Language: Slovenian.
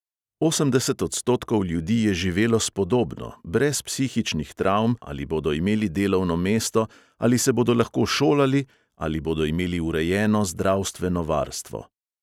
Osemdeset odstotkov ljudi je živelo spodobno, brez psihičnih travm, ali bodo imeli delovno mesto, ali se bodo lahko šolali, ali bodo imeli urejeno zdravstveno varstvo.